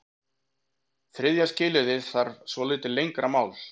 Þriðja skilyrðið þarf svolítið lengra mál.